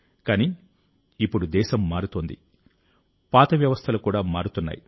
కానీ ఇప్పుడు దేశం మారుతోంది పాత వ్యవస్థలు కూడా మారుతున్నాయి